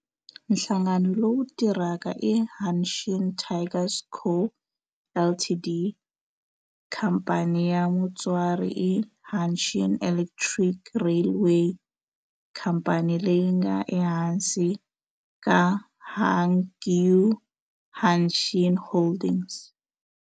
Nhlangano lowu tirhaka i Hanshin Tigers Co., Ltd. Khamphani ya mutswari i Hanshin Electric Railway, khamphani leyi nga ehansi ka Hankyu Hanshin Holdings.